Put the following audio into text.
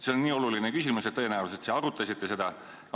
See on nii oluline küsimus, et tõenäoliselt te arutasite seda.